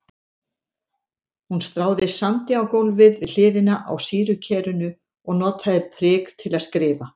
Hún stráði sandi á gólfið við hliðina á sýrukerinu og notaði prik til að skrifa.